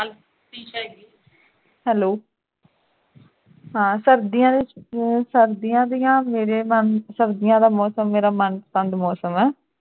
hello ਹਾਂ ਸਰਦੀਆਂ ਵਿਚ ਸਰਦੀਆਂ ਦੀਆਂ ਮੇਰੇ ਮਨ ਸਰਦੀਆਂ ਦਾ ਮੌਸਮ ਮੇਰਾ ਮਨਪਸੰਦ ਮੌਸਮ ਹੈ